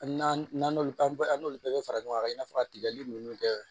Hali n'an n'olu an n'olu bɛɛ bɛ fara ɲɔgɔn kan i n'a fɔ ka tigɛli ninnu kɛ